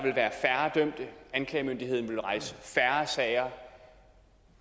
anklagemyndigheden vil rejse færre sager